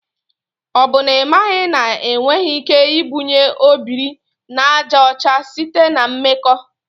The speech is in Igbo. O bụ na imaghị na enweghị ike ibunye obiri na aja ocha site na mmakọ.